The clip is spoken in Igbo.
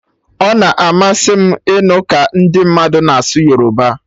Ọ na-amasị m ịnụ ka ndi mmadụ na asụ Yoruba